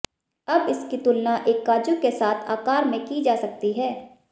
अब इसकी तुलना एक काजू के साथ आकार में की जा सकती है